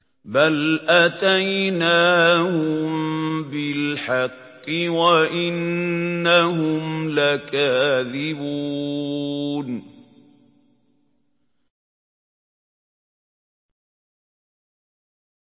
بَلْ أَتَيْنَاهُم بِالْحَقِّ وَإِنَّهُمْ لَكَاذِبُونَ